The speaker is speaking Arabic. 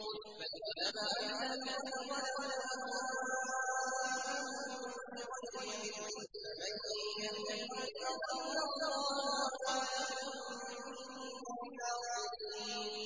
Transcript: بَلِ اتَّبَعَ الَّذِينَ ظَلَمُوا أَهْوَاءَهُم بِغَيْرِ عِلْمٍ ۖ فَمَن يَهْدِي مَنْ أَضَلَّ اللَّهُ ۖ وَمَا لَهُم مِّن نَّاصِرِينَ